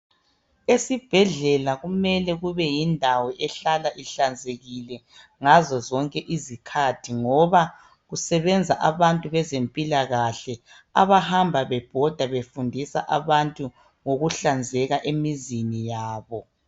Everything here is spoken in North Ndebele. Esibhedlela kumele kube yindawo ehlala ihlanzekile ngazo zonke izikhathi ngoba kusebenza abantu bezempilakahle abahamba bebhoda befundisa abantu ngokuhlanzeka emizini yabo.